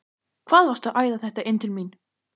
HVAÐ VARSTU AÐ ÆÐA ÞETTA INN TIL MÍN!